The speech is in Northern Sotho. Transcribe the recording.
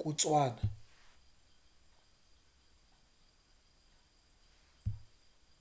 kutšwana